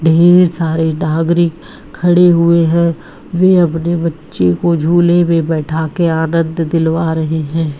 ढेर सारे नागरिक खड़े हुए हैं। वे अपने बच्चे को झूले पे बैठा कर आनंद दिलवा रहे हैं।